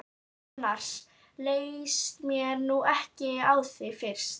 Annars leist mér nú ekkert á þig fyrst!